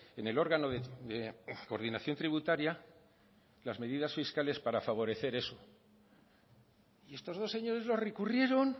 en el órgano de coordinación tributaria las medidas fiscales para favorecer eso y estos dos señores lo recurrieron